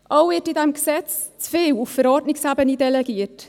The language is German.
Auch wird in diesem Gesetz zu viel auf Verordnungsebene delegiert.